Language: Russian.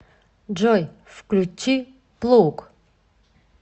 джой включи плуг